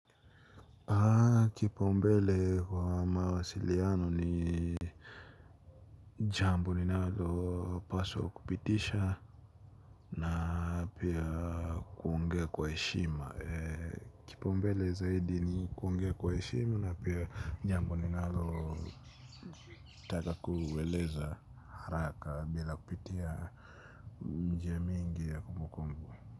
Kipa umbele kwa mawasiliano ni jambo ninalo paswa kupitisha na pia kuongea kwa eshima. Kipa umbele zaidi ni kuongea kwa eshima na pia jambo ninalo taka kuweleza haraka bila kupitia njia mingi ya kombokombo.